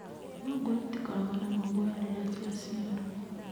Thungura itikoragwo na maguoya rĩrĩa ciaciarwo.